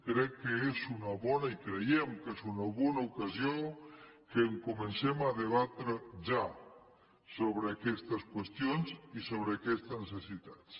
crec que és una bona i creiem que és una bona ocasió que comencem a debatre ja sobre aquestes qüestions i sobre aquestes necessitats